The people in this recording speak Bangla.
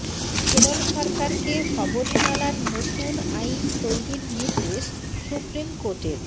কেরল সরকারকে শবরীমালার নতুন আইন তৈরির নির্দেশ সুপ্রিম কোর্টের